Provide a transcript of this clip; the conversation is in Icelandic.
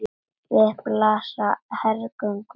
Við blasa hergögn og vélar.